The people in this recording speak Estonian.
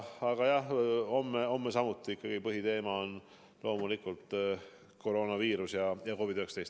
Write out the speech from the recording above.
Aga jah, homme on samuti põhiteema loomulikult koroonaviirus ja COVID-19.